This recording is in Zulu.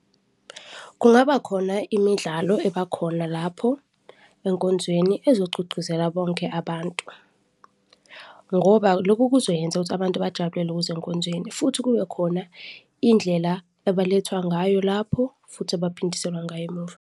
Kungaba khona imidlalo ebakhona lapho enkonzweni ezogqugquzela bonke abantu ngoba loku kuzoyenza ukuthi abantu bajabulele ukuza enkonzweni futhi kube khona indlela abalethwa ngayo lapho futhi abaphindiselwa ngayo emuva.